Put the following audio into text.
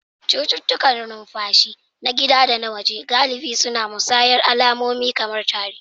Cututtukan numfashi, na gida da na waje, galibi suna musayar alamomi kamar tari